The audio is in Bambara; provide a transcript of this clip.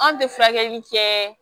Anw tɛ furakɛli kɛ